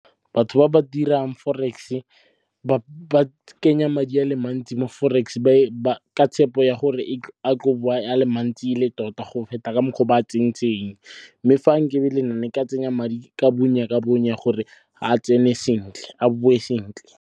Batho ba ba dirang forex-e ba kenya madi a le mantsi mo forex ka tshepo ya gore a tlo bowa a le mantsi ele tota, go feta ka mokgwa o ba a tsentseng. Mme fa nkebe ele nna nka tsenya madi ka bonya ka bonya gore a bowe sentle.